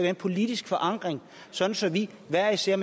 en politisk forankring så så vi hver især